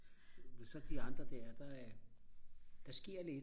men så de andre der der sker lidt